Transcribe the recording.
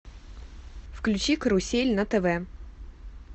включи карусель на тв